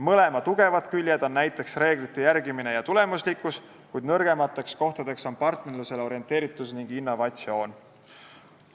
Mõlema tugevad küljed on näiteks reeglite järgimine ja tulemuslikkus, kuid nõrgemateks kohtadeks on partnerlusele orienteeritus ning innovatsioon.